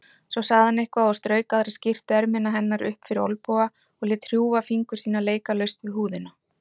Svo sagði hann eitthvað og strauk aðra skyrtuermina hennar upp fyrir olnboga og lét hrjúfa fingur sína leika laust við húðina.